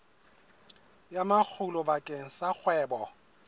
ya makgulo bakeng sa kgwebo